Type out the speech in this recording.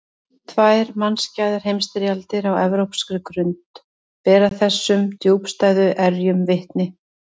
Tvær mannskæðar heimsstyrjaldir á evrópskri grund bera þessum djúpstæðu erjum vitni.